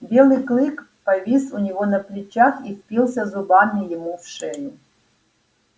белый клык повис у него на плечах и впился зубами ему в шею